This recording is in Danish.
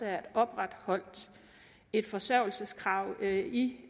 er opretholdt et forsørgelseskrav i